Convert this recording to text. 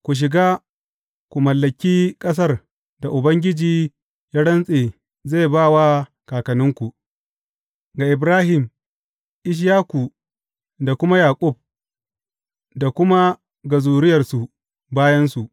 Ku shiga ku mallaki ƙasar da Ubangiji ya rantse zai ba wa kakanninku, ga Ibrahim, Ishaku da kuma Yaƙub, da kuma ga zuriyarsu bayansu.